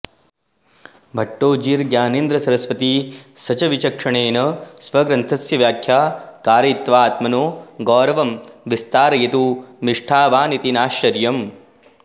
भट्टोजिर्ज्ञानेन्द्रसरस्वतिसशविचक्षणेन स्वग्रन्थस्य व्याख्या कारयित्वाऽत्मनो गौरवं विस्तारयितु मिष्ट्वानिति नाश्चर्यम्